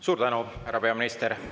Suur tänu, härra peaminister!